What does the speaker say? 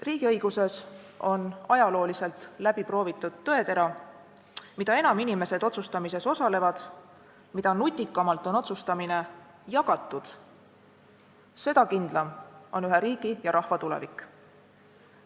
Riigiõiguses on ajalooliselt läbi proovitud tõetera: mida enam inimesed otsustamises osalevad, mida nutikamalt on otsustamine jagatud, seda kindlam on ühe riigi ja rahva tulevik.